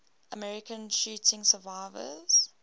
american shooting survivors